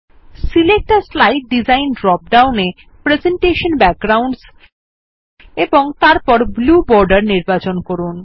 select a slide design drop down এ presentation backgrounds এবং তারপর ব্লু বর্ডের নির্বাচন করুন